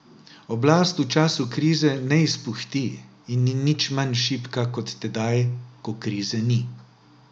Oblast v času krize ne izpuhti in ni nič manj šibka kot tedaj, ko krize ni.